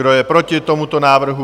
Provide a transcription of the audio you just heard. Kdo je proti tomuto návrhu?